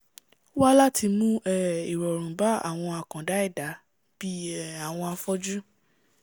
wà láti um mú ìrọ̀rùn bá àwọn àkàndá ẹ̀dá bí um àwọn afọ́jú